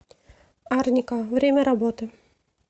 арника время работы